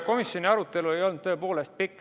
Komisjoni arutelu ei olnud tõepoolest pikk.